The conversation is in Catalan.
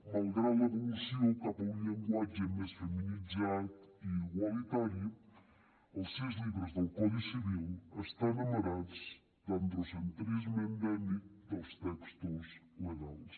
malgrat l’evolució cap a un llenguatge més feminitzat i igualitari els sis llibres del codi civil estan amarats de l’androcentrisme endèmic dels textos legals